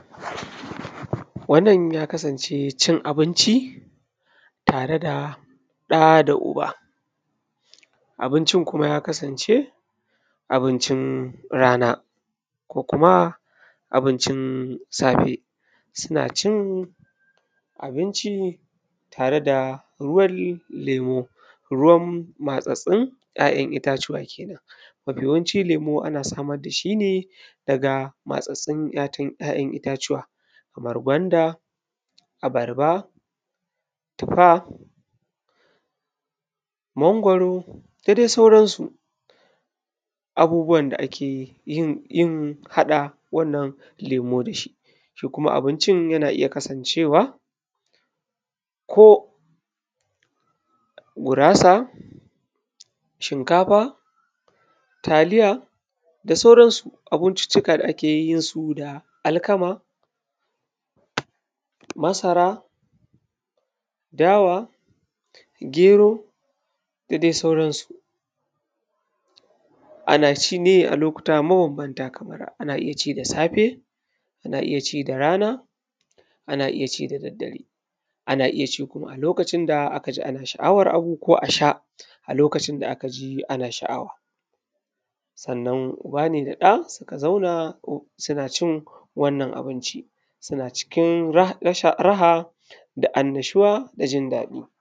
Wannan ya kasance cin abinci, tare da ɗa da uba. Abincin kuma ya kasance abincin rana, ko kuma abincin safe. Suna cin abinci ne tare da ruwan lemu, ruwan matsattsun `ya’yan itacuwa ke nan. Mafi yawanci lemu ana samar da shi ne daga matsattsun ‘ya’yan itacuwa, kamar gwanda, abarba, tufa, mangwaro, da dai sauransu. Abubuwan da ake yin, yin haɗa wannan lemo da shi. Shi kuma abincin yana iya kasancewa, ko gurasa, shinkafa, taliya da sauransu. Abunbincuka da ake yin su da alkama, masara, dawa, gero, da dai sauransu. Ana ci ne a lokuta mabambanta, kamar ana iya ci da safe; ana iya ci da rana; ana iya ci da daddare; ana iya ci kuma a lokacin da aka ji ana sha’awar abu ko a sha a lokacin da aka ji ana sha’awa. Sannan uba ne da ɗa suka zauna suna cin wannan abinci, suna cikin raha da annashuwa da jin daɗi.